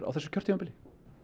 á þessu kjörtímabili